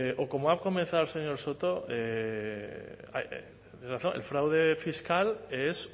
o como ha comenzado el señor soto el fraude fiscal es